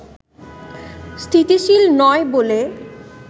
স্থিতিশীল নয় বলে